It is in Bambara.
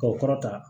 K'o kɔrɔtan